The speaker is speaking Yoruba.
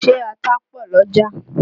Ṣé ata pọ̀ l'ọ́jà?